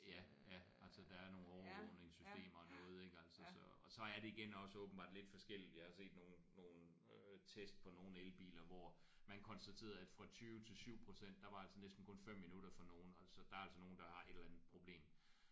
Ja ja altså der er nogle overvågningssystemer og noget ik altså så og så er det igen også åbenbart lidt forskelligt altså i nogle nogle øh tests på nogle elbiler hvor man konstaterede at fra 20 til 7% der var altså næsten kun 5 minutter for nogen altså der er altså nogen der er et eller andet problem